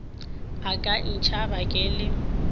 a ka ntšhaba ke le